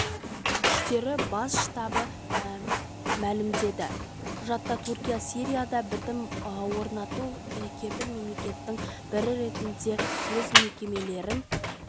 күштері бас штабы мәлімдеді құжатта түркия сирияда бітім орнатуға кепіл мемлекеттің бірі ретінде өз міндеттемелерін